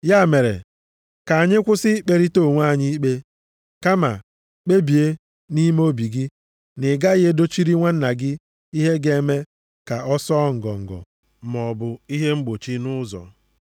Ya mere, ka anyị kwụsị ikperịta onwe anyị ikpe, kama kpebie nʼime obi gị na i gaghị edochiri nwanna gị ihe ga-eme ka ọ sụọ ngọngọ maọbụ ihe mgbochi nʼụzọ.